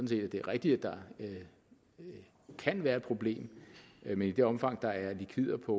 set at det er rigtigt at der kan være et problem men i det omfang der er likvider på